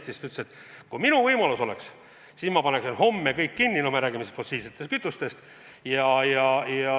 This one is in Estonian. Ta ütles, et kui temal see võimalus oleks, siis ta paneks homme kinni kõik, mis töötab fossiilsete kütustega.